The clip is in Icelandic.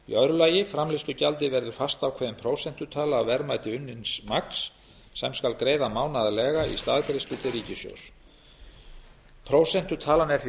annars framleiðslugjaldið verður fastákveðin prósentutala af verðmæti unnins magns sem skal greiða mánaðarlega í staðgreiðslu til ríkissjóðs prósentutalan er því